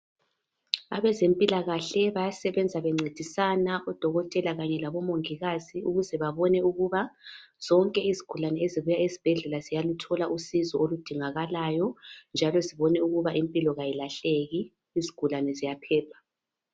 Abezempilakahle bayasebenza bencedisana odokotela Kanye labomongikazi ukuze babone ukuthi zonke izigulane ezibuya esibhedlela ziyaluthola usizo olidingakalayo njalo zibone ukuthi impilo ayilahleki izigulani ziyaphepha